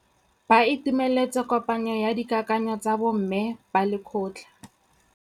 Ba itumeletse kôpanyo ya dikakanyô tsa bo mme ba lekgotla.